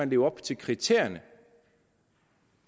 leve op til kriterierne